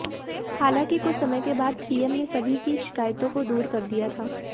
हालांकि कुछ समय के बाद सीएम ने सभी की शिकायतों को दूर कर दिया था